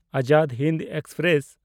Azad Hind express